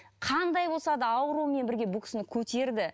қандай болса да ауруымен бірге бұл кісіні көтерді